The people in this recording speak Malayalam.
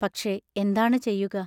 പക്ഷേ, എന്താണു ചെയ്യുക?